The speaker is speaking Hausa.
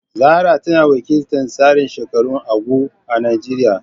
Zarah tana wakiltar tsarin shekarun “Ugwu” a Najeriya